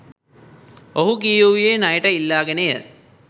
ඔහු කියවූයේ ණයට ඉල්ලාගෙනය.